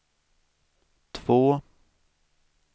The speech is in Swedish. två